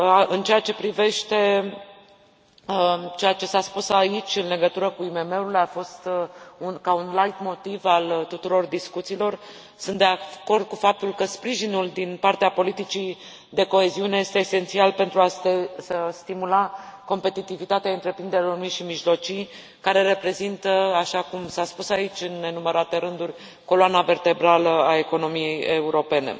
În ceea ce privește ceea ce s a spus aici în legătură cu IMM urile, a fost ca un laitmotiv al tuturor discuțiilor, sunt de acord cu faptul că sprijinul din partea politicii de coeziune este esențial pentru a stimula competitivitatea întreprinderilor mici și mijlocii, care reprezintă, așa cum s a spus aici, în nenumărate rânduri, coloana vertebrală a economiei europene.